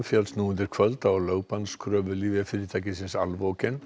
féllst nú undir kvöld á lyfjafyrirtækisins